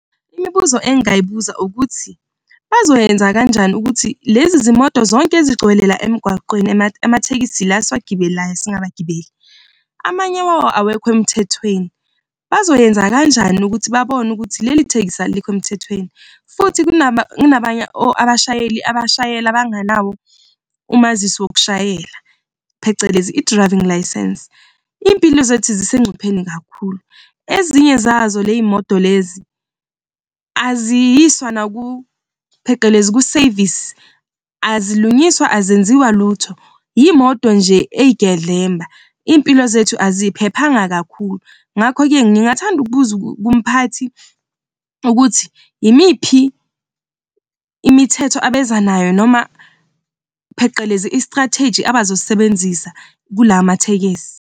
Imibuzo engingayibuza ukuthi bazoyenza kanjani ukuthi lezi zimoto zonke ezigcwele la emgwaqweni amathekisi la esiwagibelayo singabagibeli. Amanye wawo awekho emthethweni. Bazoyenza kanjani ukuthi babone ukuthi leli thekisi alikho emthethweni? Futhi kunabanye abashayeli abashayela bangenawo umazisi wokushayela phecelezi i-driving licence. Impilo zethu zisegcupheni kakhulu, ezinye zazo ley'moto lezi aziyiswa phecelezi kuseyivisi, azilungiswa ezenziwa lutho, imoto nje eyigedlemba, izimpilo zethu aziphephanga kakhulu. Ngakho-ke ngingathanda ukubuza kumphathi ukuthi yimiphi imithetho abeza nayo noma phecelezi i-strategy abazosisebenzisa kulawa mathekisi.